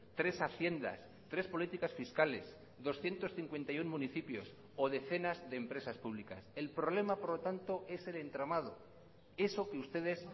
tres haciendas tres políticas fiscales doscientos cincuenta y uno municipios o decenas de empresas públicas el problema por lo tanto es el entramado eso que ustedes